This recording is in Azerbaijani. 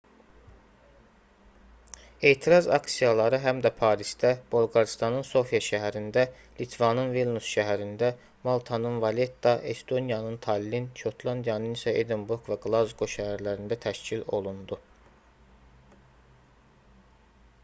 etiraz aksiyaları həm də parisdə bolqarıstanın sofia şəhərində litvanın vilnüs şəhərində maltanın valetta estoniyanın tallin şotlandiyanın isə edinburq və qlazqo şəhərlərində təşkil olundu